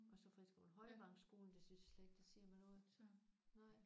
Og så friskolen? Højvangsskolen? Det synes jeg slet ikke det siger mig noget